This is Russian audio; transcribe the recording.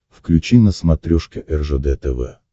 включи на смотрешке ржд тв